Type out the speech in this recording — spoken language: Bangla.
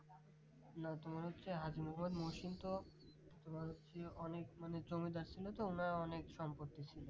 না তোমার হচ্ছে হাজী মোহাম্মদ মহসিন তো তোমার হচ্ছে অনেক মানে জমিদার ছিল তো অনেক ওনার সম্পত্তি ছিল